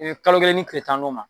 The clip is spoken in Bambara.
kalo kelen ni tile tan n'o ma